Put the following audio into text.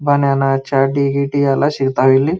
ಬನಿಯನ್ ಚಡ್ಡಿ ಗಿಡ್ಡಿ ಎಲ್ಲ ಸಿಗ್ತಾವು ಇಲ್ಲಿ.